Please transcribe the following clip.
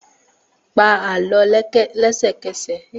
Pa Àlọ́ lẹ́sẹ̀kẹsẹ̀!